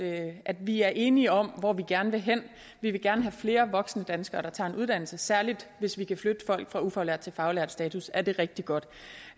af at vi er enige om hvor vi gerne vil hen vi vil gerne have flere voksne danskere der tager en uddannelse særlig hvis vi kan flytte folk fra ufaglært til faglært status er det rigtig godt